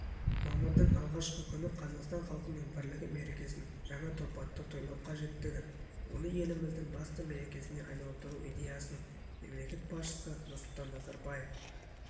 мамырдың алғашқы күні қазақстан халқының бірлігі мерекесін жаңа тұрпатта тойлау қажеттігін оны еліміздің басты мерекесіне айналдыру идеясын мемлекет басшысы нұрсұлтан назарбаев